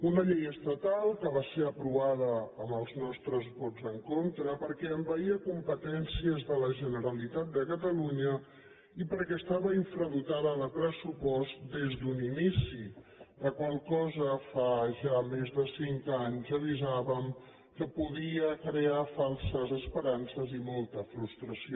una llei estatal que va ser aprovada amb els nostres vots en contra perquè envaïa competències de la generalitat de catalunya i perquè estava infradotada de pressupost des d’un inici la qual cosa fa ja més de cinc anys avisàvem que podia crear falses esperances i molta frustració